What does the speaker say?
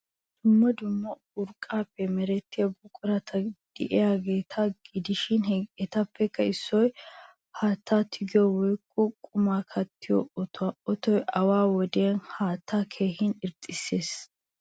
Dumma dumma urqqaappe merettiya buqurati de'iyageeta gidishi etappe issoy haattaa tigiyo woykko qumaa kattiiyo otuwa. Otoy awaa wodiyan haattaa keehin irxxissees.